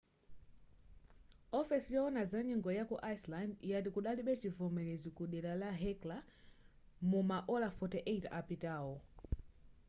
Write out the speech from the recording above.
ofesi yowona za nyengo yaku iceland yati kudalibe chivomerezi ku dera la hekla muma ola 48 apitawo